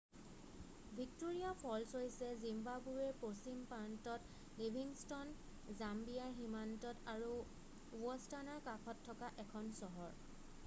Victoria falls হৈছে জিম্বাবোৱেৰ পশ্চিম প্ৰান্তত লিভিংষ্ট'ন জাম্বিয়াৰ সীমান্তত আৰু বষ্টৱানাৰ কাষত থকা এখন চহৰ